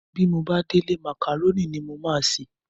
Bí mo bá délé màkàrónì ni màá se.